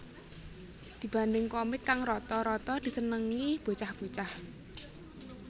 Dibanding komik kang rata rata disenengi bocah bocah